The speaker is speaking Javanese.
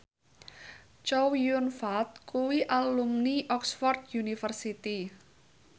Chow Yun Fat kuwi alumni Oxford university